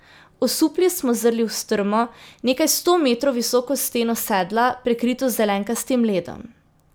Osupli smo zrli v strmo, nekaj sto metrov visoko steno sedla, prekrito z zelenkastim ledom.